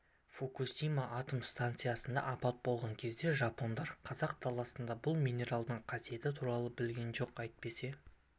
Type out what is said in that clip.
фукусима атом стансасында апат болған кезде жапондар қазақ даласындағы бұл минералдың қасиеті туралы білген жоқ әйтпесе